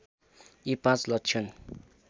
यी पाँच लक्षण